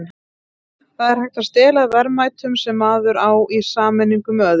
það er hægt að stela verðmætum sem maður á í sameiningu með öðrum